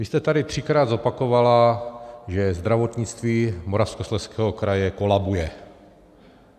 Vy jste tady třikrát zopakovala, že zdravotnictví Moravskoslezského kraje kolabuje.